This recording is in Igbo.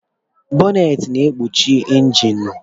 Bọnnet na ekpuchi injinu.